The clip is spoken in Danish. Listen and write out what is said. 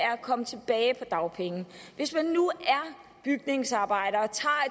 komme tilbage på dagpenge hvis man nu er bygningsarbejder